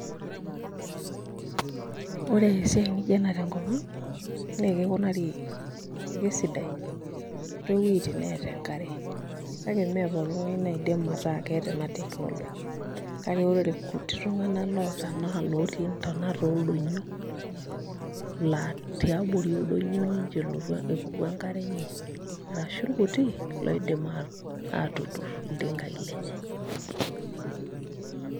Ore esiai nijio ena tenkop ang' naa kikunari ekesidai toowueitin neeta enkare kake mee pooki ng'ae naidim ataa keeta ena technology kake ore irkuti tung'anak oota naa ilootii ntonat ooldonyio laa tiabori oldonyio ninche epuku enkare enye arashu irkuti loidima aatuturr iltingaai lenye.